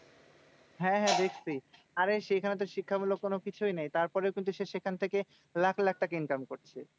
হ্যাঁ হ্যাঁ দেখছি। আরে সেখানে তো শিক্ষামূলক কোনো কিছুই নেই। তারপরেও সে সেখান থেকে লাখ লাখ টাকা income করছে।